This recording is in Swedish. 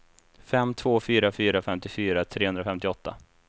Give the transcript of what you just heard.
fem två fyra fyra femtiofyra trehundrafemtioåtta